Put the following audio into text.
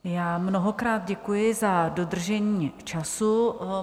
Já mnohokrát děkuji za dodržení času.